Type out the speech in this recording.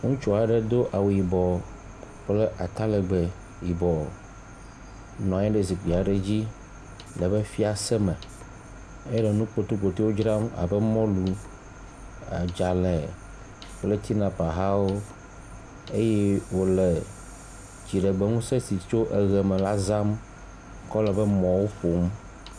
Ŋutsu aɖe do awu yibɔ kple atalɛgbɛ yibɔ nɔ anyi ɖe zikpui aɖe dzi le eƒe fiase me ele nu kpotokpoto dzram abe : mɔlu, adzelẽ kple tinapa hawo eye wòle dziɖegbeŋusẽ si tso eʋe me la zãm kɔ le eƒe mɔwo ƒom.